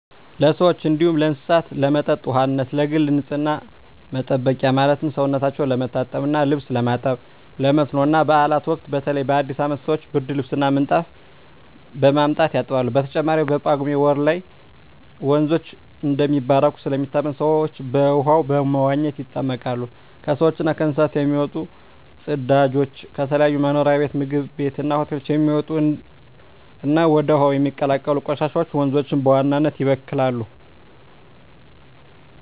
ለሰዎች እንዲሁም ለእስሳት ለመጠጥ ውሃነት፣ ለግል ንፅህና መጠበቂያ ማለትም ሰውነታቸው ለመታጠብ እና ልብስ ለማጠብ፣ ለመስኖ እና ባእላት ወቅት በተለይ በአዲስ አመት ሰወች ብርድልብስ እና ምንጣፍ በማምጣት ያጥባሉ። በተጨማሪም በጳጉሜ ወር ላይ ወንዞች እንደሚባረኩ ስለሚታመን ሰወች በውሃው በመዋኘት ይጠመቃሉ። ከሰውች እና ከእንስሳት የሚወጡ ፅዳጆች፣ ከተለያዩ መኖሪያ ቤት ምግብ ቤት እና ሆቴሎች የሚወጡ እና ወደ ውሀው የሚቀላቀሉ ቆሻሻወች ወንዞችን በዋናነት ይበክላሉ።